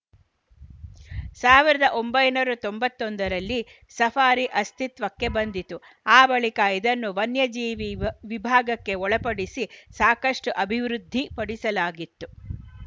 ಸಾವಿರದ ಒಂಬೈನೂರ್ ತೊಂಬತ್ತೊಂದ ರಲ್ಲಿ ಸಫಾರಿ ಅಸ್ತಿತ್ವಕ್ಕೆ ಬಂದಿತು ಆ ಬಳಿಕ ಇದನ್ನು ವನ್ಯಜೀವಿ ವ್ ವಿಭಾಗಕ್ಕೆ ಒಳಪಡಿಸಿ ಸಾಕಷ್ಟುಅಭಿವೃದ್ಧಿಪಡಿಸಲಾಗಿತ್ತು